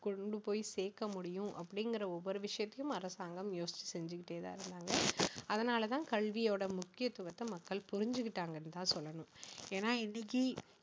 கொண்டு போய் சேர்க்க முடியும் அப்படிங்கிற ஒவ்வொரு விஷயத்தையும் அரசாங்கம் யோசிச்சு செஞ்சுக்கிட்டே தான் இருந்தாங்க அதனால தான் கல்வியோட முக்கியத்துவத்தை மக்கள் புரிஞ்சுகிட்டாங்கன்னு தான் சொல்லணும் ஏன்னா இன்னைக்கு